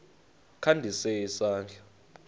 kha ndise isandla